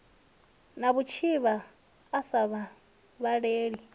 na vhutshivha a sa vhavhaleli